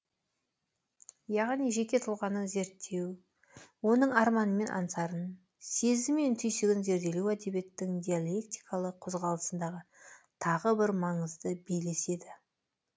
яғни жеке тұлғаны зерттеу оның арманы мен аңсарын сезімі мен түйсігін зерделеу әдебиеттің диалектикалық қозғалысындағы тағы бір маңызды белес еді